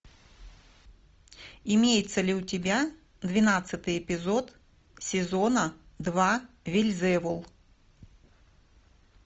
имеется ли у тебя двенадцатый эпизод сезона два вельзевул